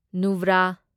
ꯅꯨꯕ꯭ꯔꯥ